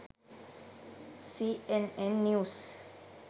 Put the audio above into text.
cnn news